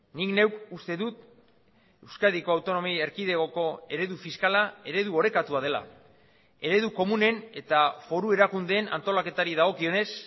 nik neuk uste dut euskadiko autonomia erkidegoko eredu fiskala eredu orekatua dela eredu komunen eta foru erakundeen antolaketari dagokionez